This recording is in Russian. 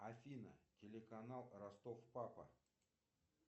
афина телеканал ростов папа